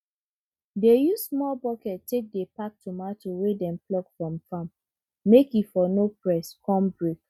dey use small bucket take dey pack tomato wey dem pluck from farm make e for no press con break